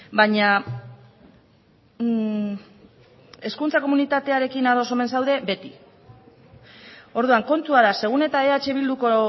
baina hezkuntza komunitatearekin ados omen zaude beti orduan kontua da segun eta eh bilduko